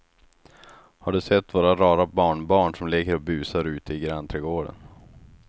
Har du sett våra rara barnbarn som leker och busar ute i grannträdgården!